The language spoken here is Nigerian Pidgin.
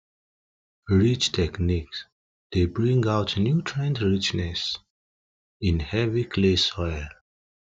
ridge techniques dey bring out nutrient richness in heavy clay soil